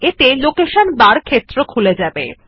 এত়ে location বার ক্ষেত্র খুলে যাবে